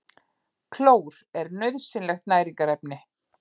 Klór er nauðsynlegt næringarefni.